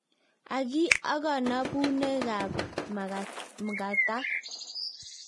Agi akanabunekab mg�atak